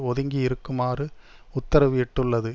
ஒதுங்கி இருக்குமாறு உத்தரவு இட்டுள்ளது